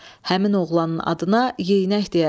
Həmin oğlanın adına Yeynək deyərdilər.